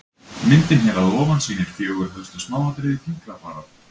myndin hér fyrir ofan sýnir fjögur helstu smáatriði fingrafara